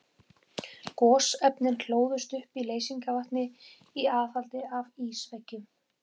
Gosefnin hlóðust upp í leysingarvatni í aðhaldi af ísveggjum.